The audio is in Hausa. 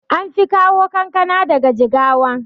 anfi kawo kankana daga jigawa